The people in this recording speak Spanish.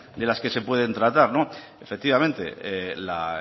de las que se pueden tratar efectivamente la